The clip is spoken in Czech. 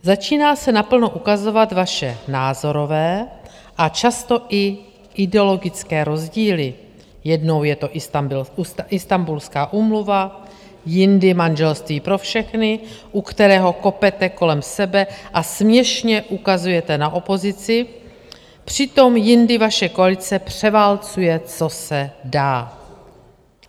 Začínají se naplno ukazovat vaše názorové a často i ideologické rozdíly - jednou je to Istanbulská úmluva, jindy manželství pro všechny, u kterého kopete kolem sebe a směšně ukazujete na opozici, přitom jindy vaše koalice převálcuje, co se dá.